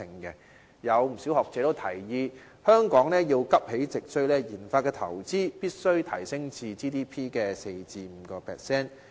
不少學者提議，香港要急起直追，研發投資必須提升至 GDP 的 4% 至 5%。